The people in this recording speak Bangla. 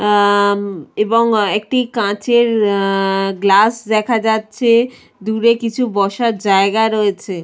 আহ উম এবং একটি কাঁচের আ-আ-আহ গ্লাস দেখা যাচ্ছে দূরে কিছু বসার জায়গা রয়েছে।